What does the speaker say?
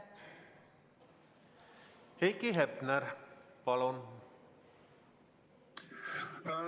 Heiki Hepner, palun!